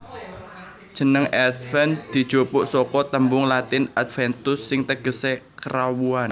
Jeneng Adven dijupuk saka tembung Latin Adventus sing tegesé Kerawuhan